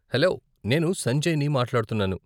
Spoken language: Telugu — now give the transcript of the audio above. హలో, నేను సంజయ్ ని మాట్లాడుతున్నాను.